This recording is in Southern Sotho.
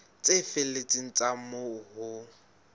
tse felletseng tsa moo ho